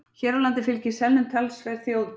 Hér á landi fylgir selnum talsverð þjóðtrú.